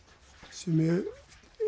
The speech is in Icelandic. sem ég